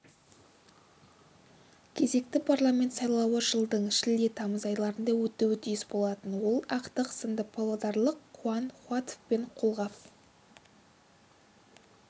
кезекті парламент сайлауы жылдың шілде-тамыз айларында өтуі тиіс болатын ол ақтық сында павлодарлық қуан қуатовпен қолғап